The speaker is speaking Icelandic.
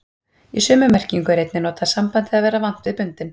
Í sömu merkingu er einnig notað sambandið að vera vant við bundinn.